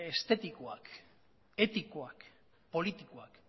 estetikoak etikoak politikoak